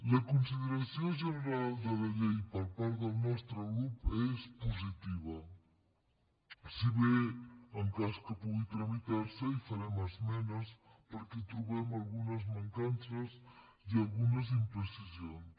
la consideració general de la llei per part del nostre grup és positiva si bé en cas que pugui tramitar se hi farem esmenes perquè hi trobem algunes mancances i algunes imprecisions